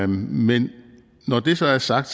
men når det så er sagt